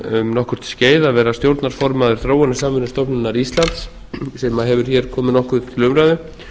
um nokkurt skeið að vera stjórnarformaður þróunarsamvinnustofnunar íslands sem hefur hér komið nokkuð til umræðu